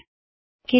ਦੇਖਣ ਲਈ ਧੰਨਵਾਦ